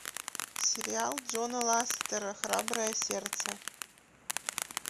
сериал джона ластера храброе сердце